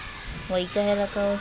wa ikahela ka ho sa